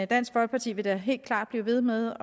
dansk folkeparti vil da helt klart blive ved med